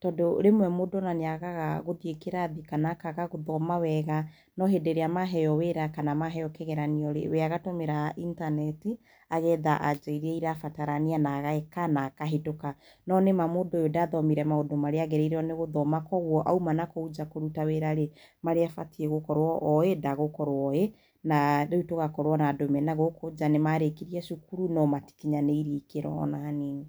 tondu rĩmwe mũndũ nĩagaga gũthĩe kĩrathii na akaga gũthoma wega nohĩndĩ ĩrĩa maheo wĩra kana maheo kĩgeranio rĩ weagatũmĩra intaneti agetha anja irĩa irabatara na ageka na akahĩtũka no nĩma mũndũ ũyũ ndathomire maũndũ arĩa agĩrĩirwo gũthoma kwoguo auma nakũo nja kũrũta wĩra rĩ marĩa abatie gũkorwo oĩ ndagũkorwo oĩ na\ tũgakorwo na andũ menagũkũ nja nĩmarĩkirie cukuru no matĩkinyanĩrio ikĩro ona hanini.